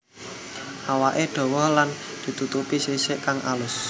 Awaké dawa lan ditutupi sisik kang alus